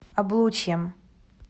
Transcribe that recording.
облучьем